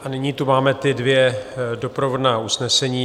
A nyní tu máme ta dvě doprovodná usnesení.